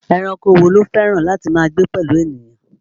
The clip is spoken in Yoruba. Ẹranko wo ló fẹ́ràn láti máa gbé pẹ̀lú ènìyàn?